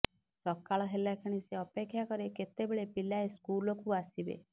ସକାଳ ହେଲା କ୍ଷଣି ସେ ଅପେକ୍ଷା କରେ କେତେବେଳେ ପିଲାଏ ସ୍କୁଲ୍କୁ ଆସିବେ